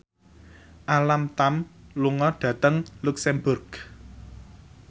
Alam Tam lunga dhateng luxemburg